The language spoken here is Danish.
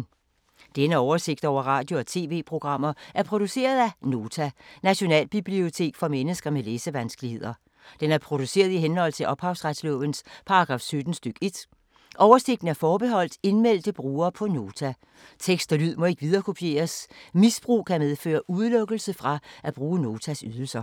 Denne oversigt over radio og TV-programmer er produceret af Nota, Nationalbibliotek for mennesker med læsevanskeligheder. Den er produceret i henhold til ophavsretslovens paragraf 17 stk. 1. Oversigten er forbeholdt indmeldte brugere på Nota. Tekst og lyd må ikke viderekopieres. Misbrug kan medføre udelukkelse fra at bruge Notas ydelser.